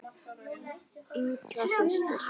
Inga systir.